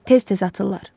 Tez-tez atırlar.